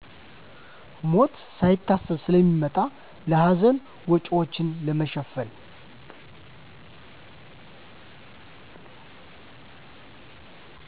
ሞት ሳይታሰብ ስለሚመጣ ለሀዘን ወጭዎችን ለመሸፈን።